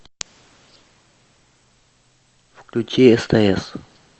включи стс